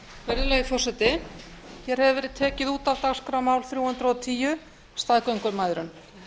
virðulegi forseti hér hefur verið tekið út af dagskrá mál þrjú hundruð og tíu staðgöngumæðrun